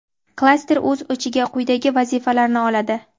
klaster o‘z ichiga quyidagi vazifalarni oladi:.